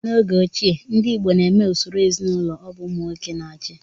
N'oge ochie, ndị igbo na-eme usoro ezinụlọ ọbụ ụmụ nwoke na-achị